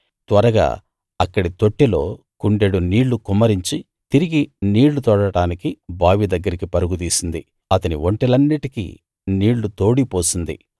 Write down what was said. త్వరగా అక్కడి తొట్టిలో కుండెడు నీళ్ళు కుమ్మరించి తిరిగి నీళ్ళు తోడటానికి బావి దగ్గరికి పరుగు తీసింది అతని ఒంటెలన్నిటికీ నీళ్ళు తోడి పోసింది